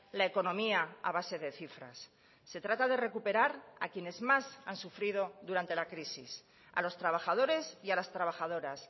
la economía a base de cifras se trata de recuperar a quienes más han sufrido durante la crisis a los trabajadores y a las trabajadoras